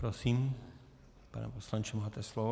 Prosím, pane poslanče, máte slovo.